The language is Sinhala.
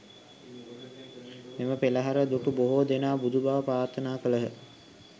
මෙම පෙළහර දුටු බොහෝ දෙනා බුදුබව ප්‍රාර්ථනා කළහ.